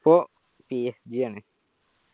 ഇപ്പൊ PSJ ആണ്.